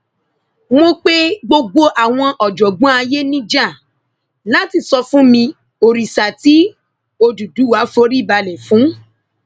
mo pe gbogbo àwọn ọjọgbọn ayé níjà láti sọ fún mi òrìṣà tí òdúdúwá forí balẹ fún